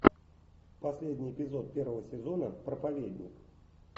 последний эпизод первого сезона проповедник